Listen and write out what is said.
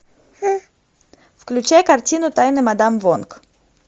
включай картину тайны мадам вонг